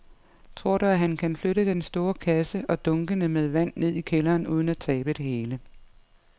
Tror du, at han kan flytte den store kasse og dunkene med vand ned i kælderen uden at tabe det hele?